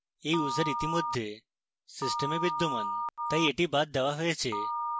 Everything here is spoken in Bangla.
এই user ইতিমধ্যে system বিদ্যমান তাই এটি বাদ দেওয়া হয়েছে